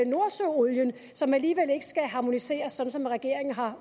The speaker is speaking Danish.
nordsøolien som alligevel ikke skal harmoniseres sådan som regeringen har